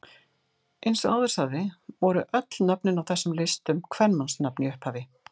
Eins og áður sagði voru öll nöfnin á þessum listum kvenmannsnöfn í upphafi.